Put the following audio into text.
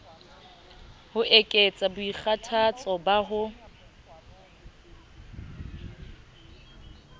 ho ekets boikgathatso ba ho